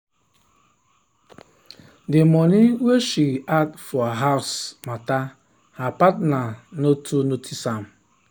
the money wey she dey add for house matter her partner no too notice am.